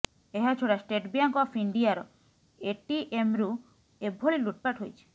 ଏହା ଛଡ଼ା state bank of ଇଣ୍ଡିଆର ଏଟିଏମ୍ରୁ ଏଭଳି ଲୁଟପାଟ ହୋଇଛି